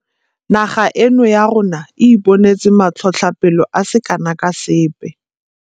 Naga eno ya rona e ipone tse matlhotlhapelo a se kana ka sepe.